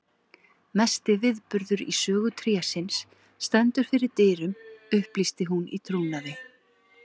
Mesti viðburður í sögu trésins stendur fyrir dyrum upplýsti hún í trúnaði.